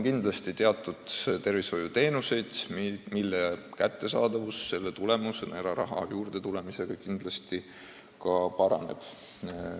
Kindlasti on tervishoiuteenuseid, mille kättesaadavus tänu eraraha sel moel juurdetulemisele paraneb.